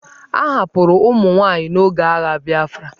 A hapụrụ ụmụ nwaanyị n'oge agha Biafra.